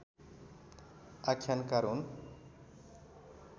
आख्यानकार हुन्